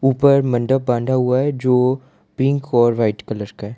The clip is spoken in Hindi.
ऊपर मंडप बांधा हुआ है जो पिंक और व्हाइट कलर का है।